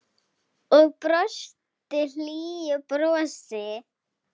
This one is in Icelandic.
Og brosti hlýju brosi.